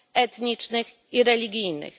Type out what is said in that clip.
etnicznych i religijnych.